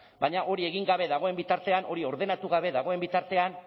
baina hori egin gabe dagoen bitartean hori ordenatu gabe dagoen bitartean